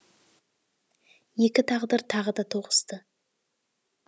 екі тағдыр тағы да тоғысты